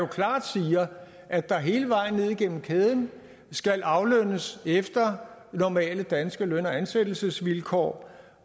klart siger at der hele vejen ned igennem kæden skal aflønnes efter normale danske løn og ansættelsesvilkår